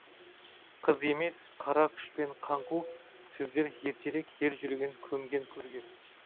қыз емес қара күш пен қаңқу сөздер ертерек ер жүрегін көмген көрге